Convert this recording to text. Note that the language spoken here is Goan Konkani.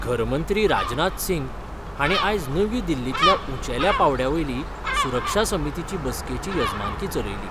घरमंत्री राजनाथ सिंग हांणी आयज नवी दिल्लींतल्या उंचेल्या पांवड्या वयली सुरक्षा समितीची बसकेची येजमानकी चलयली.